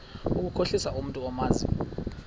ukukhohlisa umntu omazi